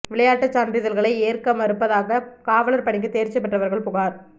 விளையாட்டு சான்றிதழ்களை ஏற்க மறுப்பதாக காவலா் பணிக்கு தோ்ச்சி பெற்றவா்கள் புகாா்